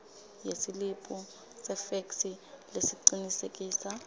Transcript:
yesiliphu sefeksi lesicinisekisa